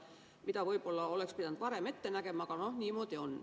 Neid võib-olla oleks pidanud varem ette nägema, aga noh, niimoodi on.